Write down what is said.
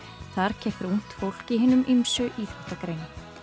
þar keppir ungt fólk í hinum ýmsu íþróttagreinum